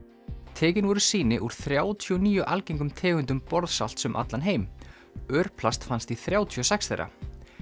tekin voru sýni úr þrjátíu og níu algengum tegundum borðsalts um allan heim örplast fannst í þrjátíu og sex þeirra